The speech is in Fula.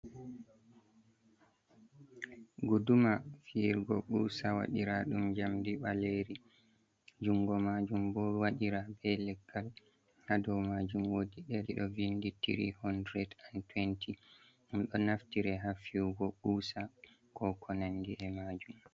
Guduma fiirgo usa waɗiraa ɗum jamdi ɓaleri, jungo majum bo waɗira be leggal, ha do majum wodi eri ɗo vindi 3 20 ɗum ɗo naftire hafyugo kusa ko konandi e majum.